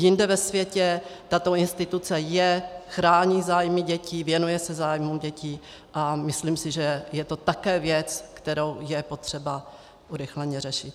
Jinde ve světě tato instituce je, chrání zájmy dětí, věnuje se zájmu dětí a myslím si, že je to také věc, kterou je potřeba urychleně řešit.